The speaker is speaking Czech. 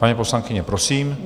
Paní poslankyně, prosím.